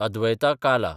अद्वैता काला